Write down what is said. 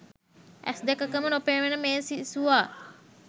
ඇස් දෙකකම නොපෙනෙන මේ සිසුවා